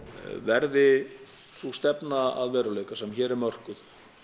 verði sú stefna að veruleika sem hér er mörkuð